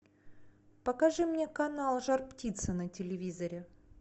покажи мне канал жар птица на телевизоре